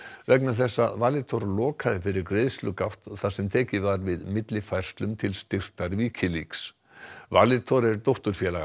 vegna þess að Valitor lokaði fyrir þar sem tekið var við millifærslum til styrktar Wikileaks Valitor er dótturfélag